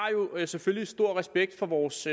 jo selvfølgelig stor respekt for vores